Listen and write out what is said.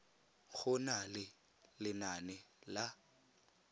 go na le lenane la